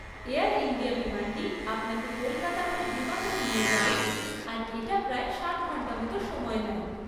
Air India বিমানটি আপনাকে কলকাতা হয়ে ডিমাপুর নিয়ে যাবে আর এটা প্রায় সাত ঘন্টা মতো সময় নেয়।